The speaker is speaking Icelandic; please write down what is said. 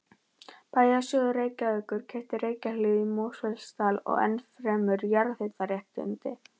Bæjarsjóður Reykjavíkur keypti Reykjahlíð í Mosfellsdal og ennfremur jarðhitaréttindi